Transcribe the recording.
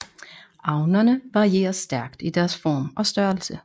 Avnerne varierer stærkt i deres form og størrelse